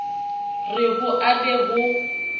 re ho a be ho